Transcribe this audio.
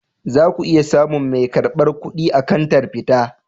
Za ku iya samun mai karbar kuɗi a kantar fita.